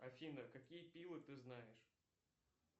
афина какие пилы ты знаешь